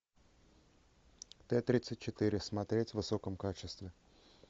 т тридцать четыре смотреть в высоком качестве